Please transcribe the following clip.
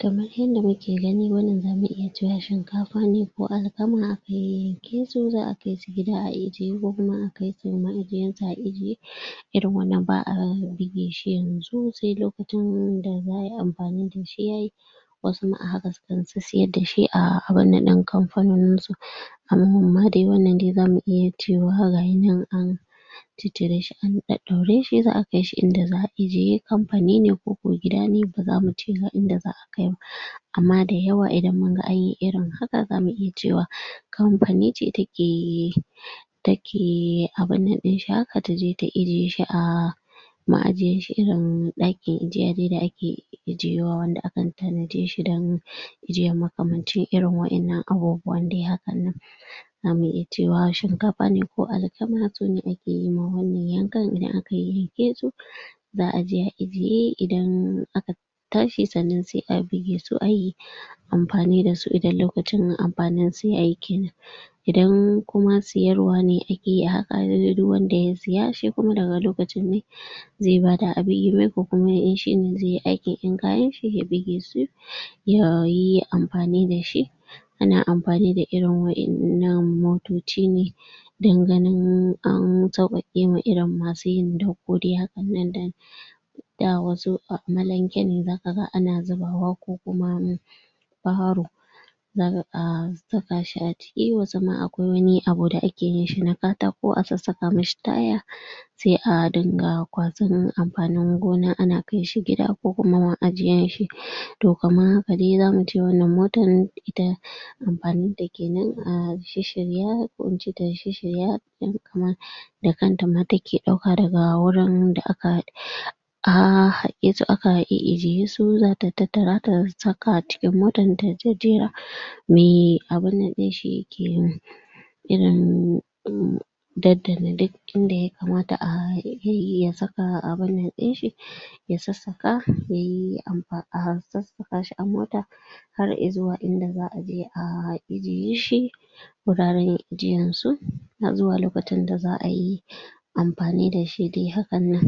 Kamar yanda muke gani wannan zamu iya cewa shinkafa ne ko alkama ake ke so za’a kai gida a ejiye, ko kuma a kai shi ma’ajiyansa a ejiye. Irin wannan ba’a bige shi yanzu sai lokacin da za’a yi amfani da shi yayi. Wasu ma a haka sukan sissiyar da shi a abun nan ɗin kamfanoni. Am amma dai wannan dai zamu iya cewa ga ya nan dai an ciccire shi an ɗaɗɗaure za’a kai shi inda za’a ejiye. Kamfani ne ko ko gidan ne ba zamu ce ga inda za’a kai ba. Amma da yawa idan mun ga an yi irin haka zamu iya cewa kamfani ce take abun nan ɗin haka taje ta ejiye shi a ma’ajiyanshi irin ɗakin ejiya dai da ake ejiyewa, wanda akan tanaje don ejiyan makamancin irin waƴannan abubuwan dai haka nan. Zamu iya cewa shinkafa ne ko alkama su ne ake ma wannan yankan, idan aka yayyanke su za’a je a ejiye. Idan aka tashi sannan sai bige su a yi amfani da su idan lokacin amfanin su yayi kenan. Idan kuma siyarwa ne iya haka duk wanda ya siya shi kuma daga lokacin ne zai bada a bige mai ko kuma in shine zai yi aikin, in kayan ya bige su yayi amfani da shi. Ana amfani da irin waƴannan motoci ne don ganin an sauƙaƙe ma irin masu yin dako dai hakan nan. Da da wasu amalanke ne za ka ga ana zubawa ko kuma baro. Za ka ga saka shi a ciki, wasu ma akwai wani abu da ake yin shi na katako a sassaka ma shi taya sai a dinga kwasan amfanin gona ana kai shi gida ko kuma ma’ajiyansa. To kaman haka dai za mu ce wannan motan ita amfanin ta kenan a shisshirya ko in ce ta shisshirya kaman da kanta ma take ɗauka daga wurin da aka um haƙe su aka e’ejiye su za ta tattara ta saka cikin motan ta jejjera. Mai abun nan ɗin shi ya ke irin um daddane duk inda ya kamata a yi ya saka abun nan ɗin shi, ya sassaka, yayi amfa a sassaka shi a mota har zuwa inda za’a je a ejiye shi, guraren ejiyansu, har zuwa lokacin da za’a yi amfani da shi dai haka nan.